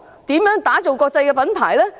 如何打造成國際品牌呢？